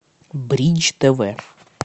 бридж тв